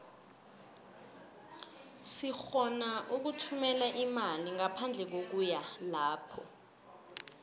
sirhona ukuthumela imali ngaphandle kokuya lapho